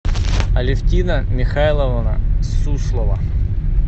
алевтина михайловна суслова